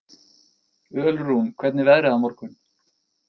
Ölrún, hvernig er veðrið á morgun?